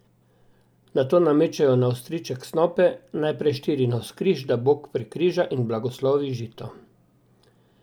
Nato namečejo na ostriček snope, najprej štiri navzkriž, da bog prekriža in blagoslovi žito.